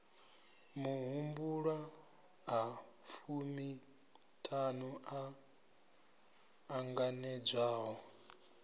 mahumbulwa a fumiṱhanu o ṱanganedzwaho